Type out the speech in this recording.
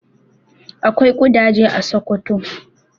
Akwai ƙudaje a Sokoto.